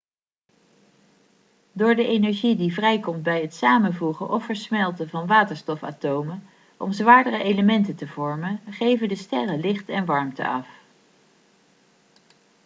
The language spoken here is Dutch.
door de energie die vrijkomt bij het samenvoegen of versmelten van waterstofatomen om zwaardere elementen te vormen geven de sterren licht en warmte af